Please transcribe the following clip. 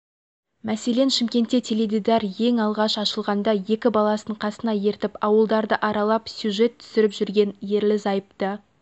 мәселен шымкентте теледидар ең алғаш ашылғанда екі баласын қасына ертіп ауылдарды аралап сюжет түсіріп жүрген ерлі-зайыпты